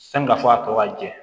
Sani ka fɔ a tɔgɔ jɛ